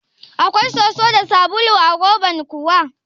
Akwai soso da sabulu a roban kuwa?